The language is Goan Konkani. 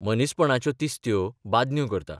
मनीसपणाच्यो तिस्त्यो बादन्यो करता...